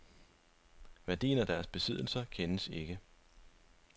Værdien af deres besiddelser kendes ikke.